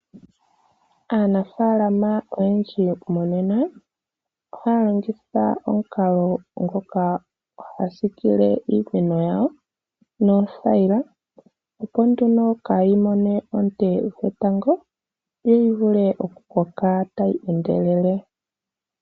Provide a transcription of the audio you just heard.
Aanafaalama oyendji monena ohaya longitha omukalo ngoka haya siikile iimeno yawo, noothayila opo nduno kaayi mone oonte dhetango yo yi vule okukoka tayi endelele.